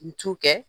N t'u kɛ